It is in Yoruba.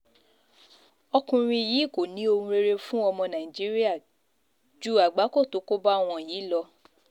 ọkùnrin yìí kò ní ohun rere fún ọmọ nàìjíríà ju àgbákò tó kó bá wọn yìí lọ